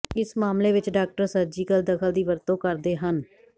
ਇਸ ਮਾਮਲੇ ਵਿੱਚ ਡਾਕਟਰ ਸਰਜੀਕਲ ਦਖਲ ਦੀ ਵਰਤੋਂ ਕਰਦੇ ਹਨ